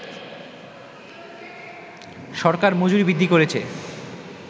সরকার মজুরি বৃদ্ধি করেছে